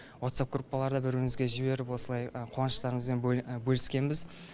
ватсап группаларда бір бірімізге жіберіп осылай қуаныштарымызбен бөліскенбіз